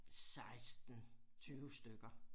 16 20 stykker